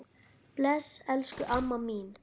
Bless, elsku amma mín.